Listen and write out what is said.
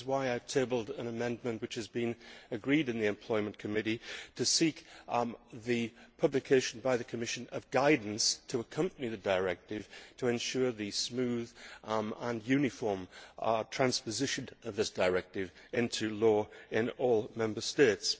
This is why I have tabled an amendment which has been agreed in the Employment Committee, to seek the publication by the Commission of guidance to accompany the directive to ensure the smooth and uniform transposition of this directive into law in all Member States.